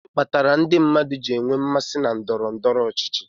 gịnị kpatara ndị mmadụ ji enwe mmasị na ndọrọ ndọrọ ọchịchị